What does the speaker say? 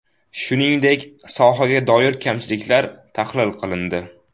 Shuningdek, sohaga doir kamchiliklar tahlil qilindi.